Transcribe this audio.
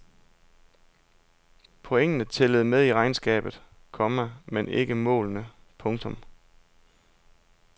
Pointene tæller med i regnskabet, komma men ikke målene. punktum